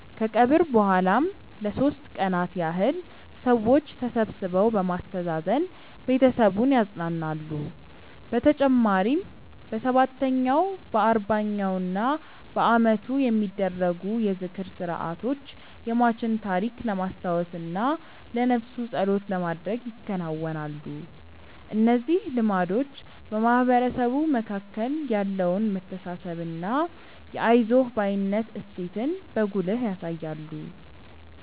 ከቀብር በኋላም ለሦስት ቀናት ያህል ሰዎች ተሰብስበው በማስተዛዘን ቤተሰቡን ያጸናናሉ። በተጨማሪም በሰባተኛው፣ በአርባኛውና በዓመቱ የሚደረጉ የዝክር ሥርዓቶች የሟችን ታሪክ ለማስታወስና ለነፍሱ ጸሎት ለማድረግ ይከናወናሉ። እነዚህ ልማዶች በማህበረሰቡ መካከል ያለውን መተሳሰብና የአይዞህ ባይነት እሴትን በጉልህ ያሳያሉ።